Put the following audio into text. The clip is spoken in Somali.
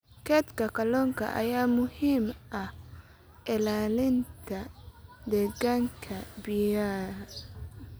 Kaydka kalluunka ayaa muhiim u ah ilaalinta deegaanka biyaha.